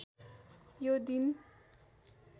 यो दिन